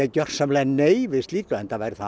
gjörsamlega nei við slíku enda væri það